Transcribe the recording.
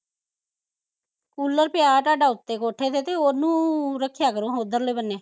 cooler ਪਿਆ ਤੁਹਾਡਾ ਉੱਥੇ ਕੋਠੇ ਤੇ ਤੇ ਓਹਨੂੰ ਰੱਖਿਆ ਕਰੋ ਓਧਰਲੇ ਬੰਨੇ